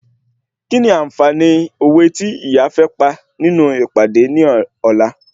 Kíni ànfààní òwe tí ìyá fẹ́ pa nínú ìpàdé ní ọ̀la?